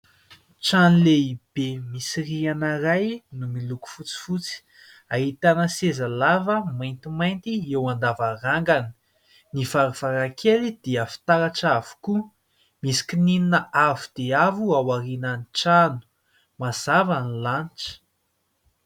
Trano lehibe misy rihana iray no miloko fotsifotsy. Ahitana seza lava maintimainty eo andavarangana. Ny varavarankely dia fitaratra avokoa. Misy kininina avo dia avo aorinan'ny trano. Mazava ny lanitra.